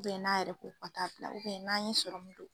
n'a yɛrɛ ko ka taa bila n'a ye